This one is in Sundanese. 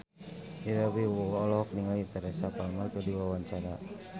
Ira Wibowo olohok ningali Teresa Palmer keur diwawancara